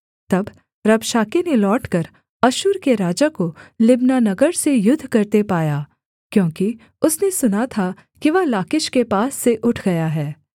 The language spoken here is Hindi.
तब रबशाके ने लौटकर अश्शूर के राजा को लिब्ना नगर से युद्ध करते पाया क्योंकि उसने सुना था कि वह लाकीश के पास से उठ गया है